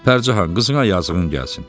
"Pərcahan, qızına yazığın gəlsin.